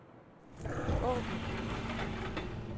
åbn